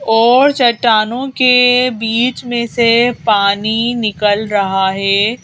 और चट्टानों के बीच में से पानी निकल रहा है।